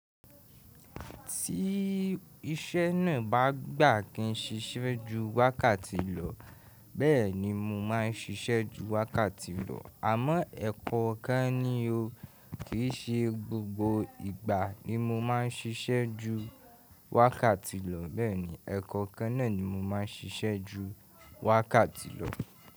Tí iṣẹ́ náà bá gbà kí n ṣiṣẹ́ ju wákàtí lọ, bẹ́ẹ̀ni mo máa ń ṣiṣẹ́ ju wákàtí lọ. Àmọ́ ẹ̀kọ́ kan ni o, kì í ṣe gbogbo ìgbà ni mo máa ń ṣiṣẹ́ ju wákàtí lọ, bẹ́ẹ̀ni ẹ̀kọ́okan náà ni mo máa ń ṣiṣẹ́ ju wákàtí lọ.